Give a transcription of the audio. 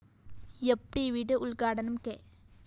യാപ്‌ ടിവിയുടെ ഉദ്ഘാടനം കെ